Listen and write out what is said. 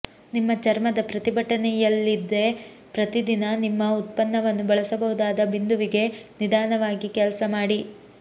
ನಿಮ್ಮ ಚರ್ಮದ ಪ್ರತಿಭಟನೆಯಿಲ್ಲದೆ ಪ್ರತಿದಿನ ನಿಮ್ಮ ಉತ್ಪನ್ನವನ್ನು ಬಳಸಬಹುದಾದ ಬಿಂದುವಿಗೆ ನಿಧಾನವಾಗಿ ಕೆಲಸ ಮಾಡಿ